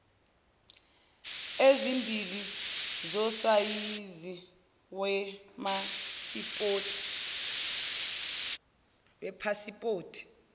ezimbili zosayizi wepasipoti